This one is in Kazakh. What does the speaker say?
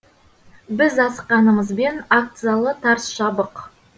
біз асыққанымызбен акт залы тарс жабық